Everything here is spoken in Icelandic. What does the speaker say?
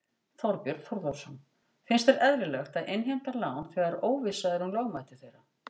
Þorbjörn Þórðarson: Finnst þér eðlilegt að innheimta lán þegar óvissa er um lögmæti þeirra?